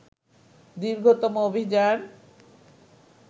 দীর্ঘতম অভিযান